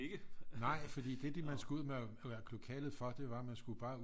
Nej fordi det man skulle ud af lokalet for det var man skulle bare ud